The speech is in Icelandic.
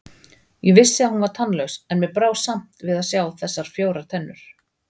Ég vissi að hún var tannlaus, en mér brá samt að sjá þessar fjórar tennur.